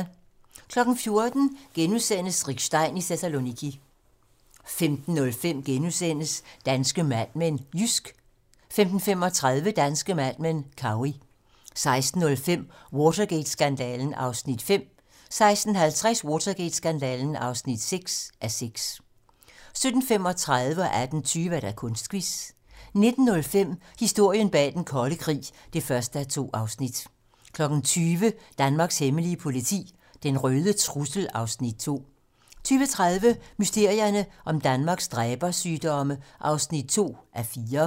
14:00: Rick Stein i Thessaloniki * 15:05: Danske Mad Men: Jysk * 15:35: Danske Mad Men: Cowey 16:05: Watergate-skandalen (5:6) 16:50: Watergate-skandalen (6:6) 17:35: Kunstquiz 18:20: Kunstquiz 19:05: Historien bag den kolde krig (1:2) 20:00: Danmarks hemmelige politi: Den røde trussel (Afs. 2) 20:30: Mysterierne om Danmarks dræbersygdomme (2:4)